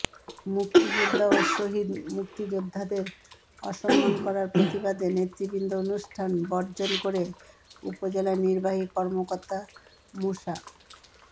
মুক্তিযোদ্ধা ও শহীদ মুক্তিযোদ্ধাদের অসম্মান করার প্রতিবাদে নেতৃবৃন্দ অনুষ্ঠান বর্জন করে উপজেলা নির্বাহী কর্মকর্তা মোসা